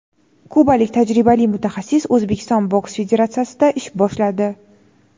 Kubalik tajribali mutaxassis O‘zbekiston boks federatsiyasida ish boshladi;.